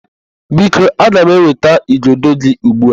Biko, aga m eweta igodo gị ugbu a.